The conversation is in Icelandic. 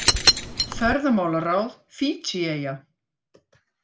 Ferðamálaráð Fídjieyja